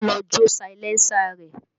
Ọlá lọ jó salẹńsà rẹ̀